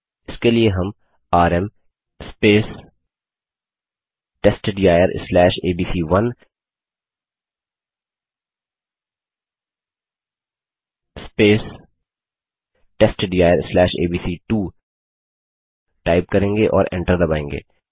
इसके लिए हम आरएम testdirएबीसी1 testdirएबीसी2 टाइप करेंगे और एन्टर दबायेंगे